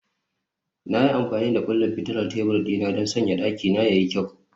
Na yi amfani da kullin fitilar tebur dina don sanya dakina ya yi kyau